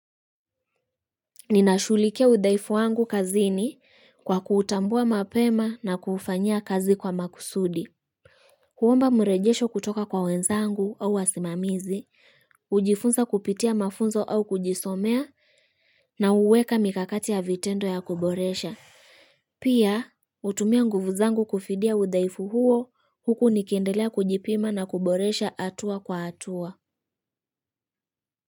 Ninashughulikia udhaifu wangu kazini, kwa kuutambua mapema na kuufanyia kazi kwa makusudi. Kuomba mrejesho kutoka kwa wenzangu au wasimamizi, hujifunza kupitia mafunzo au kujisomea na huweka mikakati ya vitendo ya kuboresha. Pia hutumia nguvu zangu kufidia udhaifu huo huku nikiendelea kujipima na kuboresha hatua kwa hatua.